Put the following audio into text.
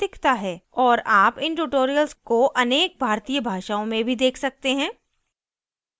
और आप इन tutorials को अनेक भारतीय भाषाओं में भी देख सकते हैं